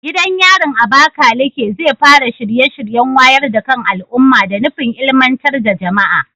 Gidan yarin Abakaleke zai fara shirye-shiryen wayar da kan al'umma da nufin ilmantar da jama'a.